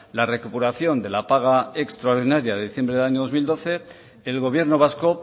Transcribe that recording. la recuperación de la paga extraordinaria de diciembre del año dos mil doce el gobierno vasco